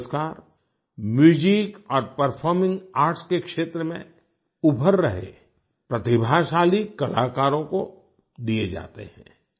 ये पुरस्कार म्यूजिक और परफॉर्मिंग आर्ट्स के क्षेत्र में उभर रहे प्रतिभाशाली कलाकारों को दिए जाते हैं